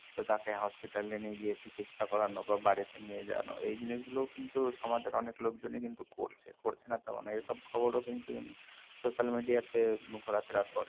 তো তাকে hospital এ নিয়ে গিয়ে চিকিৎসা করানো বা বাড়িতে নিয়ে যাওয়ানো এই জিনিসগুলো কিন্তু সমাজের অনেক লোকজনই কিন্তু করছে করছে না তেমন নয় এইসব খবর ও কিন্তু social media তে ঘোরাফেরা করে